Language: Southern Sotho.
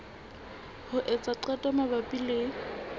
ho etsa qeto mabapi le